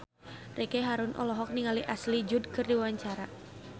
Ricky Harun olohok ningali Ashley Judd keur diwawancara